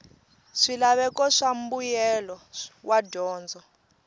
swilaveko swa mbuyelo wa dyondzo